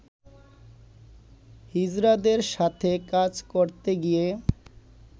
হিজড়াদের সাথে কাজ করতে গিয়ে